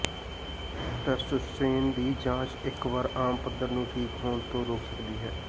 testosterone ਦੀ ਜਾਂਚ ਇਕ ਵਾਰ ਆਮ ਪੱਧਰ ਨੂੰ ਠੀਕ ਹੋਣ ਤੋਂ ਰੋਕ ਸਕਦੀ ਹੈ